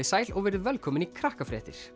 sæl og verið velkomin í